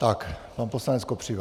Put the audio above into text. Tak, pan poslanec Kopřiva.